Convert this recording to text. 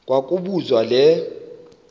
kwa kobuzwa le